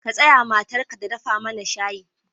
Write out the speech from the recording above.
Ka sa matarka ta dafa mana shayi.